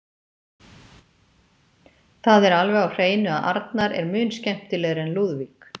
Það er alveg á hreinu að Arnar er mun skemmtilegri en Lúðvík.